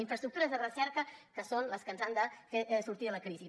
infraestructures de recerca que són les que ens han de fer sortir de la crisi